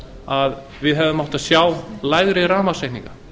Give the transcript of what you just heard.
að við hefðum átt að sjá lægri rafmagnsreikninga